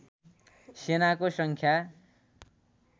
सेनाको सङ्ख्या